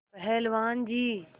पहलवान जी